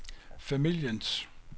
familiens